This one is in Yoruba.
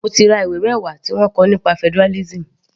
Mo ti ra ìwé mẹwa tí wọ́n kọ nípa federalism.